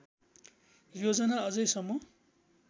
योजना अझै सम्म